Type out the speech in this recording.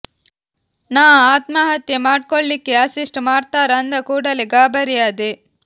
ನಾ ಆತ್ಮಹತ್ಯೆ ಮಾಡ್ಕೋಳಿಕ್ಕೆ ಅಸಿಸ್ಟ್ ಮಾಡ್ತಾರ ಅಂದ ಕೂಡಲೇ ಗಾಬರಿ ಆದೆ